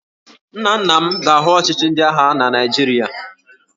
Nna nna m ga-ahụ ọchịchị ndị agha na Naịjirịa